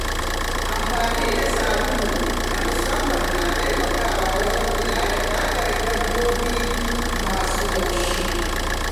Amfani da sabulai na musamman na taimakawa wajen kula da fatun dabbobi masu laushi.